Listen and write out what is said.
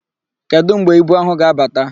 Kedụ mgbe ibu áhụ̀ ga-abata?